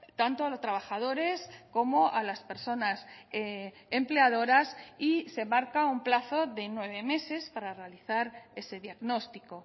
tanto a los trabajadores como a las personas empleadoras y se marca un plazo de nueve meses para realizar ese diagnóstico